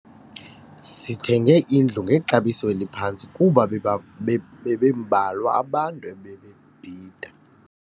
Sithenge indlu ngexabiso eliphantsi kuba bebembalwa abantu ebebebhida.